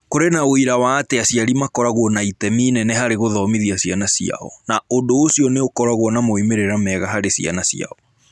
Kũrĩ na ũira wa atĩ aciari makoragwo na itemi inene harĩ gũthomithia ciana ciao, na ũndũ ũcio nĩ ũkoragwo na moimĩrĩro mega harĩ ciana ciao.